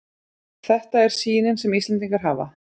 Þetta er sýnin sem Íslendingar hafa